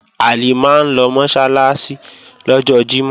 Halimah ń lọ Mọ́sálásí lọ́jọ́ Jímọ̀